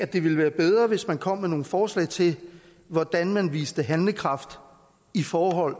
det ville være bedre hvis man kom med nogle forslag til hvordan man viste handlekraft i forhold